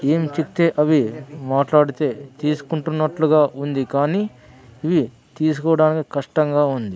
ఏం చెప్తే అవి మాట్లాడితే తీసుకుంటున్నట్లుగా ఉంది కానీ ఇవి తీసుకోవడానికి కష్టంగా ఉంది.